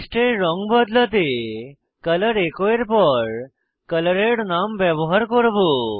টেক্সটের রঙ বদলাতে আমরা কলর এচো এর পর কলরের নাম ব্যবহার করব